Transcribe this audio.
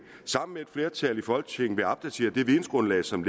sammen med et flertal i folketinget vil opdatere det vidensgrundlag som